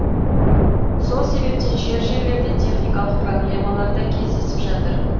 сол себептен жер жерлерде техникалық проблемалар да кездесіп жатыр